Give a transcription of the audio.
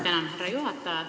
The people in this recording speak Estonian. Tänan, härra juhataja!